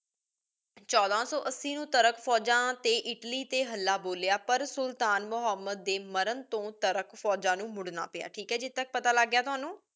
ਛੋਡਾ ਸੋ ਅਸੀਂ ਨੂ ਤੁਰਕ ਫੋਜਾਂ ਟੀ ਇਟਲੀ ਟੀ ਹਾਲਾ ਬੋਲਿਯਾ ਪਰ ਸੁਲਤਾਨ ਮੁਹਮ੍ਮਦ ਦੇ ਮਾਰਨ ਤੋ ਤੁਰਕ ਫੋਜਾਂ ਨੂ ਮੁਰਨਾ ਪਾਯਾ ਠੀਕ ਹੈ ਇਥੀ ਤਕ ਪਤਾ ਲਾਗ ਗਯਾ ਤ੍ਵਾਨੁ